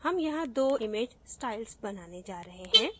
हम यहाँ 2 image styles बनाने जा रहे हैं